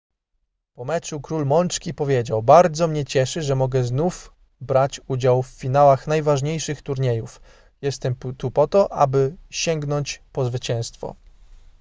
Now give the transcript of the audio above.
po meczu król mączki powiedział bardzo mnie cieszy że mogę znów brać udział w finałach najważniejszych turniejów jestem tu po to aby sięgnąć po zwycięstwo